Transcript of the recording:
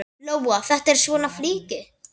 Lóa: Þetta er svona flykki?